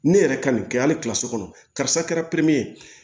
Ne yɛrɛ ka nin kɛ hali so kɔnɔ karisa kɛra